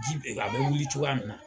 Ji bɛ n k' a wuli cogoya min